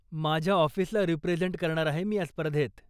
माझ्या ऑफिसला रिप्रेझेंट करणार आहे मी या स्पर्धेत.